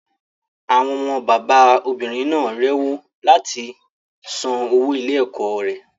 Àwọn ọmọ bàbá obìnrin náà rewó láti san owó ilé ẹ̀kọ́ rẹ̀.